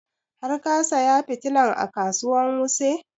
Har ka saya fitilan a kasuwan wuse?